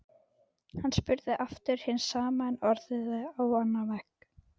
Hann spurði aftur hins sama en orðaði á annan veg.